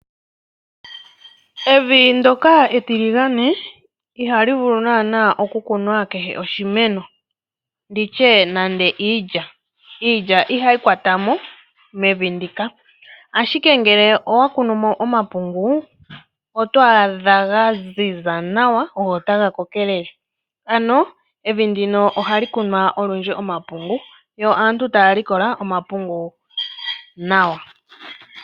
Evi ndyoka etiligandje ihali vulu naanaa okukunwa kehe oshimeno, nditye nando iilya, iilya ihayi kwatamo mevi ndika, ashike ngele owa kunu mo omapungu oto adha ga ziza nawa go otaga kokelele ano evi ndino ohali kunwa olwindji omapungu yo aantu taya likola omapungu nawa.